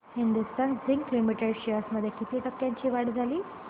Hindustan zinc limited shares मध्ये किती टक्क्यांची वाढ झाली